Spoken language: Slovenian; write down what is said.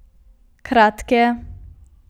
Kratke.